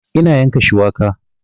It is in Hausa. Ina yanka shuwaka